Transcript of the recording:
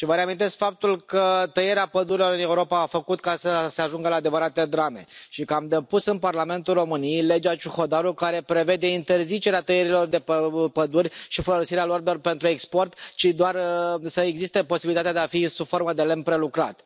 Vă reamintesc faptul că tăierea pădurilor în Europa a făcut să se ajungă la adevărate drame și că am depus în Parlamentul României legea Ciuhodaru care prevede interzicerea tăierilor de păduri și folosirea lor pentru export, și doar să existe posibilitatea de a fi sub formă de lemn prelucrat.